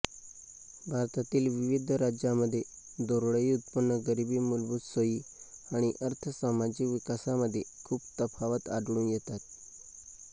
भारतातील विविध राज्यांमध्ये दरडोई उत्पन्न गरीबी मूलभूत सोयी आणि अर्थसामाजिक विकासामध्ये खूप तफावत आढळून येतात